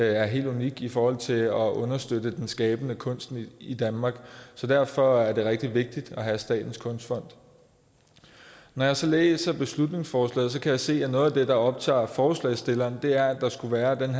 er helt unik i forhold til at understøtte den skabende kunst i danmark derfor er der rigtig vigtigt at have statens kunstfond når jeg så læser beslutningsforslaget kan jeg se at noget af det der optager forslagsstillerne er at der skulle være